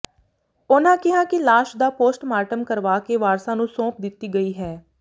ਉਨ੍ਹਾਂ ਕਿਹਾ ਕਿ ਲਾਸ਼ ਦਾ ਪੋਸਟ ਮਾਰਟਮ ਕਰਵਾ ਕੇ ਵਾਰਸਾਂ ਨੰੂ ਸੌਂਪ ਦਿੱਤੀ ਗਈ ਹੈ